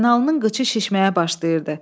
Həsənalının qıçı şişməyə başlayırdı.